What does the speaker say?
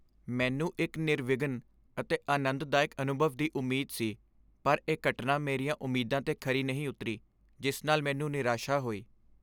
ਮੈਨੂੰ ਇੱਕ ਨਿਰਵਿਘਨ ਅਤੇ ਆਨੰਦਦਾਇਕ ਅਨੁਭਵ ਦੀ ਉਮੀਦ ਸੀ, ਪਰ ਇਹ ਘਟਨਾ ਮੇਰੀਆਂ ਉਮੀਦਾਂ 'ਤੇ ਖਰੀ ਨਹੀਂ ਉਤਰੀ, ਜਿਸ ਨਾਲ ਮੈਨੂੰ ਨਿਰਾਸ਼ਾ ਹੋਈ।